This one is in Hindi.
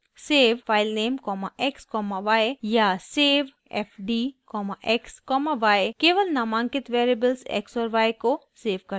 savefilenamexy या savefdxy केवल नामांकित वेरिएबल्स x और y को सेव करता है